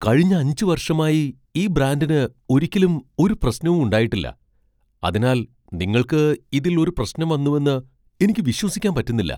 കഴിഞ്ഞ അഞ്ച് വർഷമായി ഈ ബ്രാൻഡിന് ഒരിക്കലും ഒരു പ്രശ്നവും ഉണ്ടായിട്ടില്ല, അതിനാൽ നിങ്ങൾക്ക് ഇതിൽ ഒരു പ്രശ്നം വന്നുവെന്ന് എനിക്ക് വിശ്വസിക്കാൻ പറ്റുന്നില്ല.